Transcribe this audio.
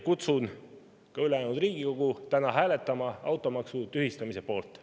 Kutsun ka ülejäänud Riigikogu üles hääletama täna automaksu tühistamise poolt.